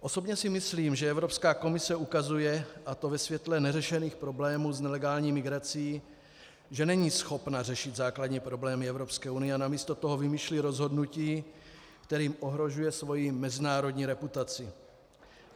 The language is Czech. Osobně si myslím, že Evropská komise ukazuje, a to ve světle neřešených problémů s nelegální migrací, že není schopna řešit základní problémy Evropské unie a namísto toho vymýšlí rozhodnutí, kterým ohrožuje svoji mezinárodní reputaci.